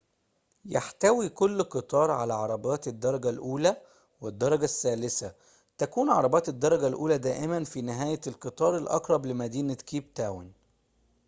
يحتوي كل قطار على عربات الدرجة الأولى والدرجة الثالثة تكون عربات الدرجة الأولى دائماً في نهاية القطار الأقرب لمدينة كيب تاون